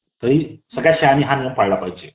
तरी सगळ्या शाळांनी हा नियम पळाला पाहिजे .